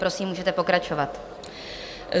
Prosím, můžete pokračovat.